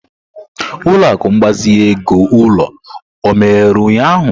Ụlọ akụ mgbazinye ego ulo ó emeghere ụnyahụ?